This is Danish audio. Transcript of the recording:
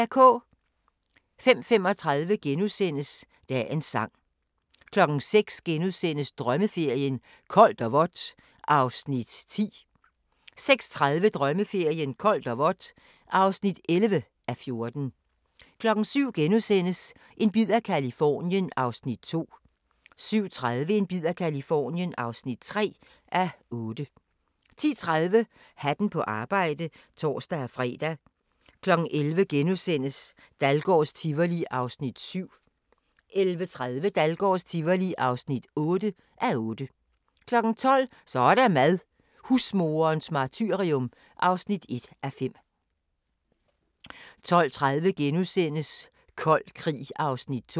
05:35: Dagens Sang * 06:00: Drømmeferien: Koldt og vådt (10:14)* 06:30: Drømmeferien: Koldt og vådt (11:14) 07:00: En bid af Californien (2:8)* 07:30: En bid af Californien (3:8) 10:30: Hatten på arbejde (tor-fre) 11:00: Dahlgårds Tivoli (7:8)* 11:30: Dahlgårds Tivoli (8:8) 12:00: Så er der mad – husmoderens martyrium (1:5) 12:30: Kold Krig (2:3)*